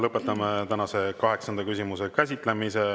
Lõpetame tänase kaheksanda küsimuse käsitlemise.